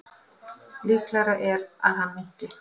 Líklegra er að hann minnki.